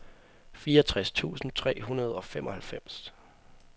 fireogtres tusind tre hundrede og femoghalvfems